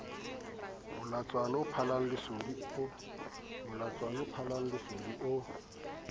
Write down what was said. molatswana o phallang lesodi o